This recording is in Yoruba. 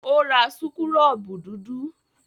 Ó ra súkúrọ́bù dúdú?